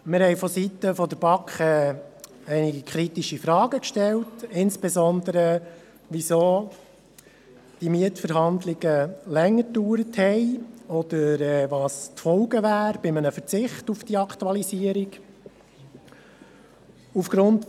Wir haben seitens der BaK einige kritische Fragen gestellt und wollten insbesondere wissen, weshalb diese Mietverhandlungen länger gedauert haben oder welches die Folgen eines Verzichts auf die Aktualisierung wären.